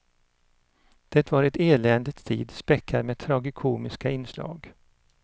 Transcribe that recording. Det var ett eländets tid, späckad med tragikomiska inslag.